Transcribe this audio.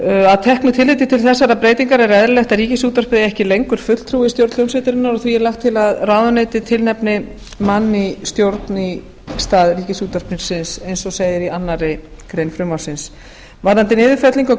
að teknu tilliti til þessarar breytingar er eðlilegt að ríkisútvarpið eigi ekki lengur fulltrúa í stjórn hljómsveitarinnar og því er lagt til að menntamálaráðuneytið tilnefni mann í stjórn í stað ríkisútvarpsins eins og segir í annarri grein fruvmrapsins varðandi niðurfellingu á